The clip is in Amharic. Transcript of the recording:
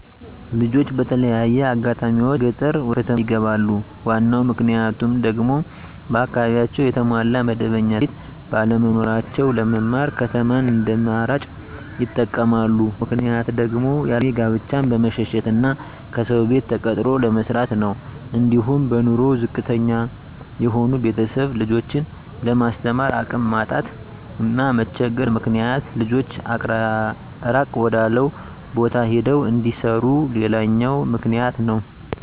ልጆች በተለያየ አጋጣሚዎች ከገጠር ወደከተማ ይገባሉ ዋናው ምክንያቱም ደግሞ በአካባቢያቸው የተሟላ መደበኛ ትምህርትቤት ባለመኖራቸው ለመማር ከተማን እንደአማራጭ ይጠቀመማሉ። ሌላው ምክንያት ደግሞ ያለእድሜ ጋብቻን በመሸሸት እና ከሰው ቤት ተቀጥሮ ለመስራት ነው። አንዲሁም በኑሮ ዝቅተተኛ የሆኑ ቤተሰብ ልጆችን ለማስተማር አቅም ማጣት እና መቸገር ምክንያት ልጆች እራቅ ወዳለው ቦታ ሄደው እንዲሰሩ ሌላውኛው ምክንያት ነው።